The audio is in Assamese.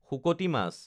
শুকতি মাছ